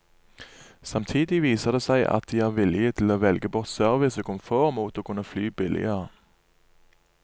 Samtidig viser det seg at de er villige til å velge bort service og komfort mot å kunne fly billigere.